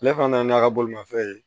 Ale fana nana n'a ka bolimafɛn ye